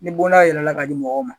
Ni bon dayɛlɛla ka di mɔgɔw ma